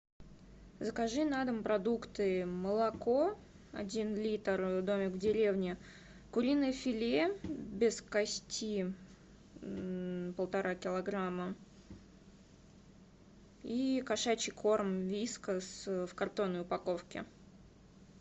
закажи на дом продукты молоко один литр домик в деревне куриное филе без кости полтора килограмма и кошачий корм вискас в картонной упаковке